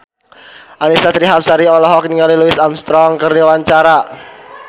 Annisa Trihapsari olohok ningali Louis Armstrong keur diwawancara